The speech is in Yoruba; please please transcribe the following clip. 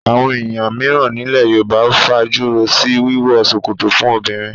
Àwọn èèyàn mìíràn nílẹ̀ Yorùbá fajúro sí wíwọ ṣòkòtò fún obìnrin